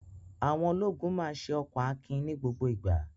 Àwọn ologun máa ṣe ọkan akin ní gbogbo ìgbà.